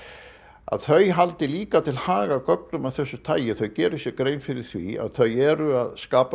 að þau haldi líka til haga gögnum af þessu tagi þau geri sér grein fyrir því að þau eru að skapa